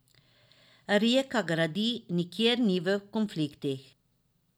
Rijeka gradi, nikjer ni v konfliktnih.